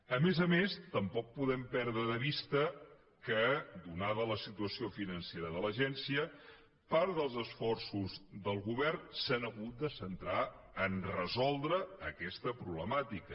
a més a més tampoc podem perdre de vista que atesa la situació financera de l’agència part dels esforços del govern s’han hagut de centrar a resoldre aquesta problemàtica